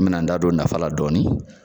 An bɛ n'an da don nafa dɔɔni